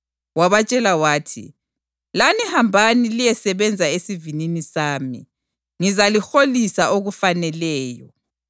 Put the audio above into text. Wabatshela wathi, ‘Lani hambani liyesebenza esivinini sami, ngizaliholisa okufaneleyo.’